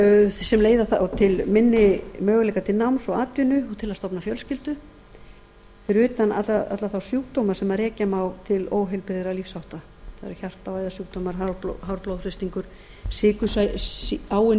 sem leiða þá til minni möguleika til náms og atvinnu og til að stofna fjölskyldu fyrir utan alla þá sjúkdóma sem rekja má til óheilbrigðra lífshátta bæði hjarta og æðasjúkdóma hár blóðþrýstingur áunnin